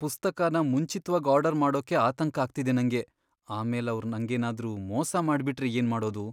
ಪುಸ್ತಕನ ಮುಂಚಿತ್ವಾಗ್ ಆರ್ಡರ್ ಮಾಡೋಕೆ ಆತಂಕ ಆಗ್ತಿದೆ ನಂಗೆ, ಆಮೇಲ್ ಅವ್ರ್ ನಂಗೇನಾದ್ರೂ ಮೋಸ ಮಾಡ್ಬಿಟ್ರೆ ಏನ್ ಮಾಡೋದು?